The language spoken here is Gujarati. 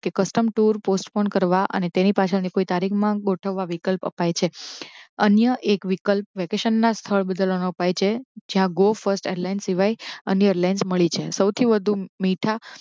કે custom tour postpone કરવા અને તેની પાછળ કોઈ તારીખ માં ગોઠવવા વિકલ્પ અપાય છે. અન્ય એક વિકલ્પ વેકેશન ના સ્થળ પર છે જ્યાં go first airlines સિવાય અન્ય airlines મળી જાય. સૌથી વધુ મીઠા.